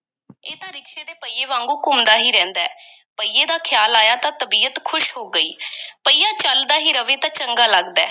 ਇਹ ਤਾਂ ਰਿਕਸ਼ੇ ਦੇ ਪਹੀਏ ਵਾਂਗੂ ਘੁੰਮਦਾ ਹੀ ਰਹਿੰਦਾ ਹੈ, ਪਹੀਏ ਦਾ ਖ਼ਿਆਲ ਆਇਆ ਤਾਂ ਤਬੀਅਤ ਖ਼ੁਸ਼ ਹੋ ਗਈ ਪਹੀਆ ਚੱਲਦਾ ਹੀ ਰਵੇ ਤਾਂ ਚੰਗਾ ਲੱਗਦਾ ਹੈ।